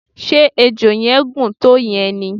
ṣe ejò yẹn gùn tó yen ni?